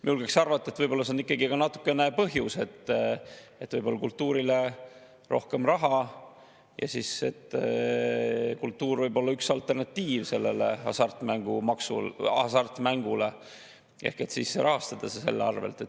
Ma julgeks arvata, et võib-olla see on ikkagi natukene ka põhjus: kultuurile läheb rohkem raha ja kultuur võib olla üks alternatiiv hasartmängule ehk saab rahastada selle arvel.